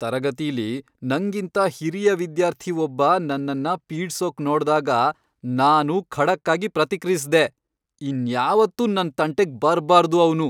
ತರಗತಿಲಿ ನಂಗಿಂತ ಹಿರಿಯ ವಿದ್ಯಾರ್ಥಿ ಒಬ್ಬ ನನ್ನನ್ನ ಪೀಡ್ಸೋಕ್ ನೋಡ್ದಾಗ ನಾನೂ ಖಡಕ್ಕಾಗಿ ಪ್ರತಿಕ್ರಿಯಿಸ್ದೆ.. ಇನ್ಯಾವತ್ತೂ ನನ್ ತಂಟೆಗ್ ಬರ್ಬಾರ್ದು ಅವ್ನು.